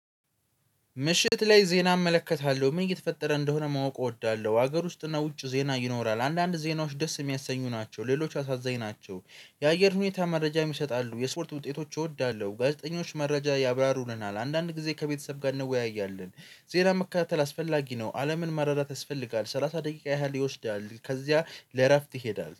ምሽት ላይ ዜና እመለከታለሁ ምን እየተፈጠረ እንደሆነ ማወቅ እወዳለሁ። ሀገር ውስጥ እና ውጭ ዜና ይኖራል አንዳንድ ዜናዎች ደስ የሚያሰኙ ናቸው ሌሎች አሳዛኝ ናቸው። የአየር ሁኔታ መረጃም ይሰጣሉ የስፖርት ውጤቶች እወዳለሁ። ጋዜጠኞች መረጃ ያብራሩልናል አንዳንድ ጊዜ ከቤተሰብ ጋር እንወያያለን። ዜና መካተል አስፈላጊ ነው። አለምን መረዳት ያስፈልጋል ሰላሳ ደቂቃ ያህል ይወስዳል። ከዚያ ለእረፍት ይሄዳል።